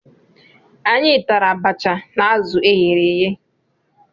Anyị tara abacha na azụ e ghere eghe.